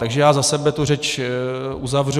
Takže já za sebe tu řeč uzavřu.